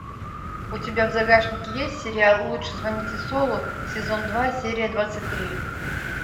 у тебя в загашнике есть сериал лучше звоните солу сезон два серия двадцать три